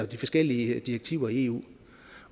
de forskellige direktiver i eu